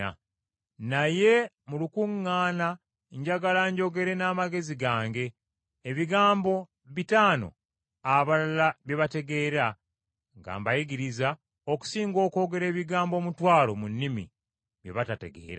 Naye mu lukuŋŋaana njagala njogere n’amagezi gange ebigambo bitaano abalala bye bategeera nga mbayigiriza, okusinga okwogera ebigambo omutwalo mu nnimi, bye bataategeere.